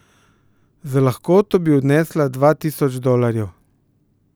Z lahkoto bi odnesla dva tisoč dolarjev.